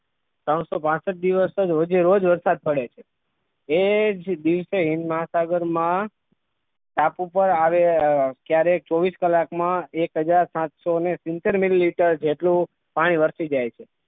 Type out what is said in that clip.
ત્દિરણસો પાસઠ દીવ વસ રોજે રોજ વરસાદ પડે છે જે કહે છે કે હિંદ મહાસાગરમાં ટાપુ પર આવેલા ક્યારેક ચોવીસ કલાકમાં એક હાજર સાતસો ને સિત્તેર મિલીં જેટલો પાણી વરસી જાય છે.